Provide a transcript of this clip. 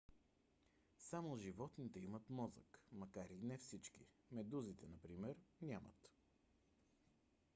само животните имат мозък макар и не всички; медузите например нямат